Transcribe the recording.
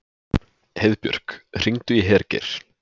Heiðbjörk, hringdu í Hergeir.